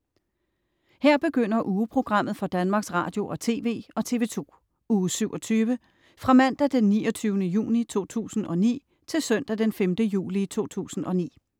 Her begynder ugeprogrammet for Danmarks Radio- og TV og TV2 Uge 27 Fra Mandag den 29. juni 2009 Til Søndag den 5. juli 2009